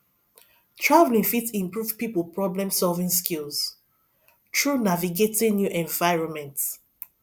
traveling fit improve pipo problemsolving skills through navigating new environments